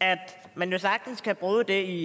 at man jo sagtens kan bruge det